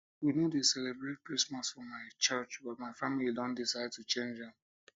we no dey celebrate christmas for my curch but my family don decide to change am